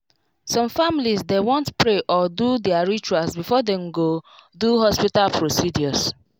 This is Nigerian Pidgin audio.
some families dey want pray or do their rituals before dem go do hospital procedures